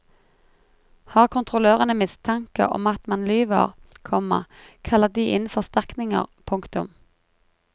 Har kontrollørene mistanke om at man lyver, komma kaller de inn forsterkninger. punktum